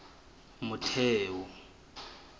motheo